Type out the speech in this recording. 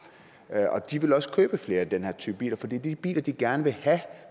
de vil også købe flere af den her type biler for det er de biler de gerne vil have